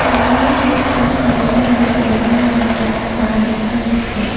মন্দিৰৰ গেট খন হালধীয়া আৰু সেউজীয়া ৰঙৰ কৰা দেখা গৈছে।